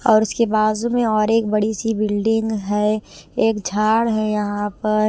और उसके बाज़ू में और एक बड़ी सी बिल्डिंग है एक झाड़ है यहाँ पर--